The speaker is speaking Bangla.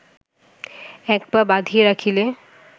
এক পা বাঁধিয়া রাখিলে